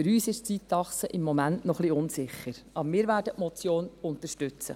Für uns ist die Zeitachse noch etwas unsicher, aber wir werden die Motion unterstützen.